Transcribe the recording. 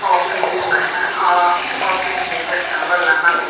office unkkha na ahh ahh office ni bwskango lama o.